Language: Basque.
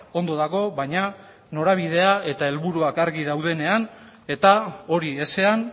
ondo dago baina norabidea eta helburuak argi daudenean eta hori ezean